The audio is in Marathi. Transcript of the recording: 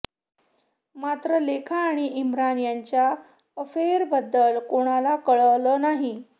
मात्र लेखा आणि इम्रान यांच्या अफेअरबद्दल कोणाला कळलं नाही